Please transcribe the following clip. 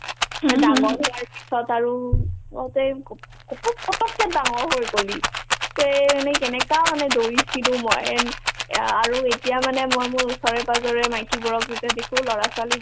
মই ডাঙৰ হোৱাৰ পিছত আৰু কওতে কপ ~ কপক কপকে ডাঙৰ হৈ গ'লি তে মানে কেনেকা মানে দৌৰিছিলো মই and অ আৰু এতিয়া মানে মই মোৰ ওচৰে-পাজৰে মাইকি বোৰক যেতিয়া দেখো ল'ৰা-ছোৱালীক